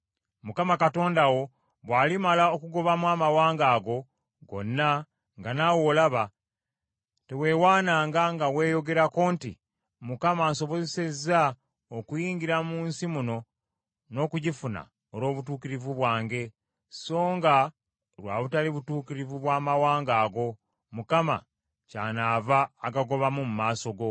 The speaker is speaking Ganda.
Mukama Katonda wo bw’alimala okugobamu amawanga ago gonna nga naawe olaba, teweewaananga nga weeyogerako nti, “ Mukama ansobozesezza okuyingira mu nsi muno n’okugifuna olw’obutuukirivu bwange;” songa lwa butali butuukirivu bwa mawanga ago, Mukama kyanaava agagobamu mu maaso go.